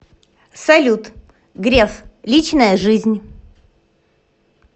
салют греф личная жизнь